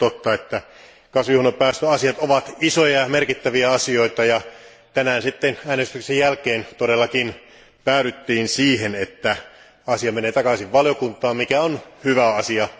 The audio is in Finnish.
On totta, että kasvihuonepäästöasiat ovat isoja ja merkittäviä asioita, ja tänään sitten äänestyksen jälkeen todellakin päädyttiin siihen, että asia menee takaisin valiokuntaan, mikä on hyvä asia.